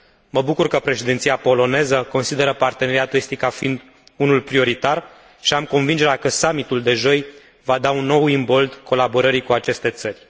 Mă bucur că președinția poloneză consideră Parteneriatul estic ca fiind unul prioritar și am convingerea că summitul de joi va da un nou imbold colaborării cu aceste țări.